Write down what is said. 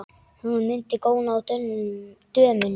Hún mundi góna á dömuna.